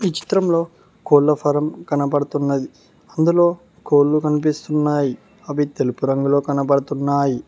ఈ చిత్రంలో కోళ్ల ఫారం కనబడుతున్నది అందులో కోళ్లు కనిపిస్తున్నాయి అవి తెలుపు రంగులో కనబడుతున్నాయి